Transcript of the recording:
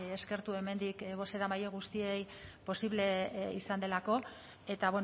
eskertu hemendik bozeramaile guztiei posible izan delako eta